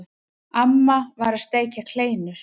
Amma var að steikja kleinur.